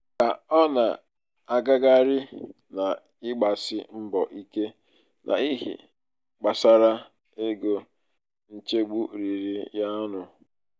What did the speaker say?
ka ọ na-agagharị n'ịgbasi mbọ ike n'ihe gbasara ego nchegbu riri ya ọnụ.